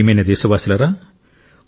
నా ప్రియమైన దేశవాసులారా